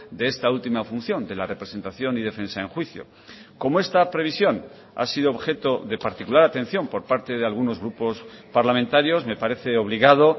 de esta última función de la representación y defensa en juicio como esta previsión ha sido objeto de particular atención por parte de algunos grupos parlamentarios me parece obligado